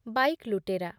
bike ଲୁଟେରା